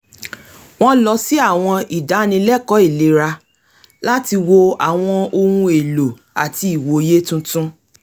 wọ́n lọ sí àwọn ìdánilẹ́kọ̀ọ́ ìlera láti wo àwọn ọhun èlò àti ìwòye tuntun